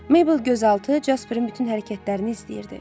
Meybl gözaltı Casperin bütün hərəkətlərini izləyirdi.